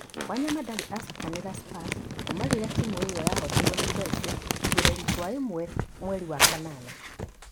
Wanyama ndarĩ acakinĩra Spurs kuuma rĩrĩa timu ĩyo yahootirwo nĩ Chelsea igereri kwa imwe mweri wa kanana.